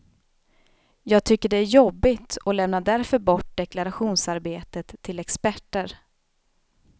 Jag tycker det är jobbigt och lämnar därför bort deklarationsarbetet till experter.